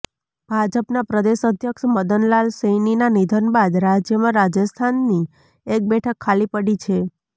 ભાજપના પ્રદેશ અધ્યક્ષ મદન લાલ સૈનીના નિધન બાદ રાજ્યમાં રાજસ્થાનની એક બેઠક ખાલી પડી છે